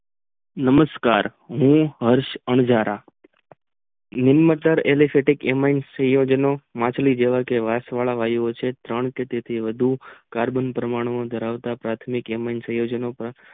નમસ્કાર હું હર્ષ અંજારા alesitek સંયોજન માછલી જેવા વસી જેવા ત્રણ કે તેથી વધુ કાર્બન પરમાણુ ધરાવતા પાર્થીમિક ems સંયોજનો